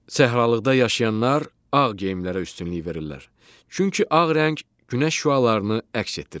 Səhralıqda yaşayanlar ağ geyimlərə üstünlük verirlər, çünki ağ rəng günəş şüalarını əks etdirir.